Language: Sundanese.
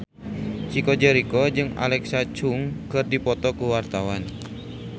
Chico Jericho jeung Alexa Chung keur dipoto ku wartawan